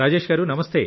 రాజేష్ గారూ